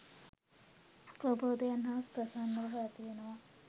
ප්‍රබෝධය හා ප්‍රසන්න බව ඇති වෙනවා.